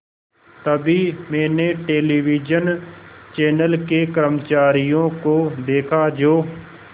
तभी मैंने television channel के कर्मचारियों को देखा जो